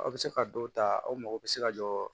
Aw bɛ se ka dɔw ta aw mago bɛ se ka jɔ